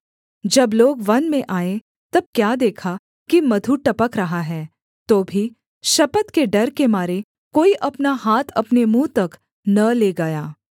जब लोग वन में आए तब क्या देखा कि मधु टपक रहा है तो भी शपथ के डर के मारे कोई अपना हाथ अपने मुँह तक न ले गया